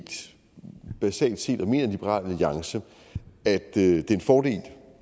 basalt set og mener liberal alliance at det er en fordel